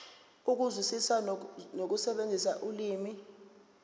ukuzwisisa nokusebenzisa ulimi